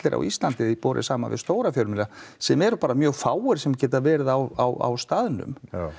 á Íslandi borið saman við stóra fjölmiðla sem eru bara mjög fáir sem geta verið á á staðnum